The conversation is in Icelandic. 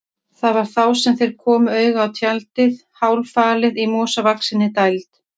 Það var þá sem þeir komu auga á tjaldið, hálffalið í mosavaxinni dæld.